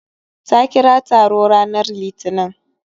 Ta kira taro ranar litinin